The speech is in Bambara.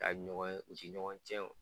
Ka ɲɔgɔn ye u ti ɲɔgɔn cɛn o